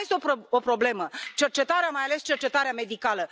Și mai este o problemă cercetarea mai ales cercetarea medicală.